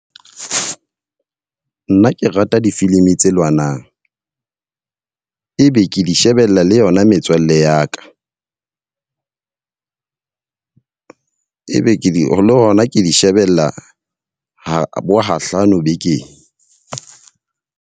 Nna ke rata difilimi tse lwanang. E be ke di shebella le yona metswalle ya ka. e be ke di ho lona ke di shebella ha bo ha hlano bekeng.